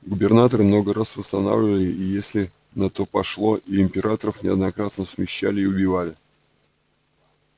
губернаторы много раз восстанавливали и если на то пошло и императоров неоднократно смещали и убивали